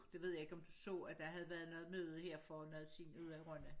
Det ved jeg ikke om du så at der havde været noget møde her for noget tid ude i Rønne